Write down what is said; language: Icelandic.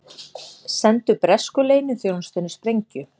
Sendu bresku leyniþjónustunni sprengju